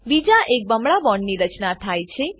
બીજા એક બમણા બોન્ડની રચના થાય છે